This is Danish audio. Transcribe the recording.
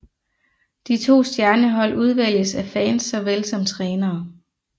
De to stjernehold udvælges af fans såvel som trænere